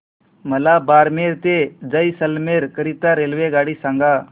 मला बारमेर ते जैसलमेर करीता रेल्वेगाडी सांगा